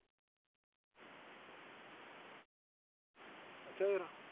ਅੱਛਾ ਫਿਰ।